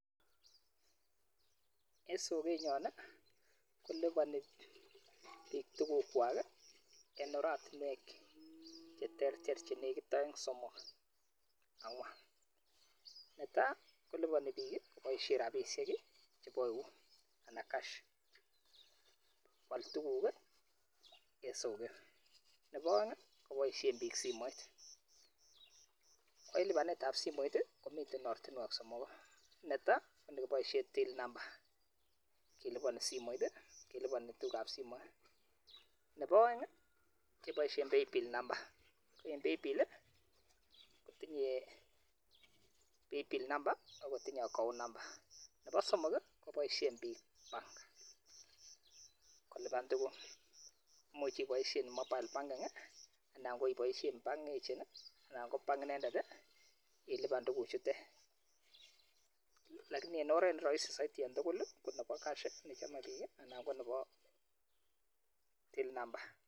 En soket nyon, kolipani biik tuguk kwak, en oratinwek che ter ter, che nekit aeng', somok, angwan. Ne tai, kolipani biik boisie rabisiek chebo eut anan cash, kwal tuguk en soket. Nebo aeng, koboisien biik simoit. Ko en lipanetab simoit, komiten ortinwek somoku. Ne tai, ko nekiboisien till number, kelipane en simoit, kelipane tugukab simoit. Nebo aeng, keboisien []cspay bill number. Ko en pay bill, kotinye pay bill number agotinye account number. Nebo somok, koboisien biik bank kolipan tuguk. Imuch iboisien mobile banking, anan ko iboisien bank agent, anan ko bank inendet, ilipan tuguk chuten. Lakini en oret ne rahisi en tugul ko nebo cash, nechome biik, anan ko nebo till number